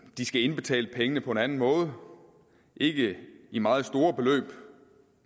de skal indbetale pengene på en anden måde ikke i meget store beløb